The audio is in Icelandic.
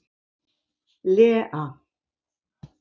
Lea